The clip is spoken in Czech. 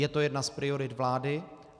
Je to jedna z priorit vlády.